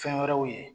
Fɛn wɛrɛw ye